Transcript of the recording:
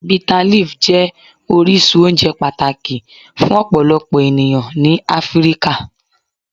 Bitterleaf jẹ orisun ounje pataki fun ọpọlọpọ eniyan ni Afirika.